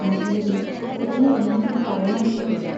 മജീദിന് ഉടനെ എന്തെങ്കിലും പറയണമെന്നു തോന്നി.